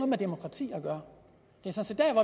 med demokrati at gøre